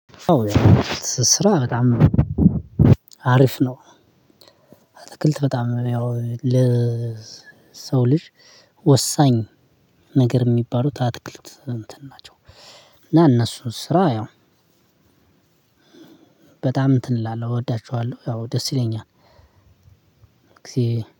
ስራ በጣም አሪፍ ነው። አትክልት በጣም ያው ለ ለሰው ልጅ ወሳኝ ነገር የሚባሉት አትክልት እንትን ናቸው። እና እነሱ ስራ ያው በጣም እንትን እላለሁ እወዳቸዋለሁ ያው ደስ ይለኛል። ጊዜ